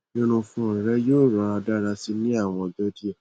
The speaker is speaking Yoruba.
irunfun rẹ yoo rọra dara si ni awọn ọjọ diẹ